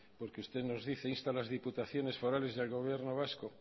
porque usted nos dice insta las diputaciones forales y al gobierno vasco